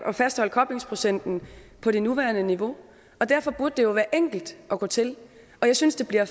at fastholde koblingsprocenten på det nuværende niveau derfor burde det jo være enkelt at gå til jeg synes det bliver